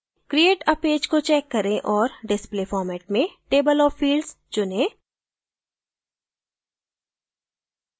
create a page को check करें और display format में table of fields चुनें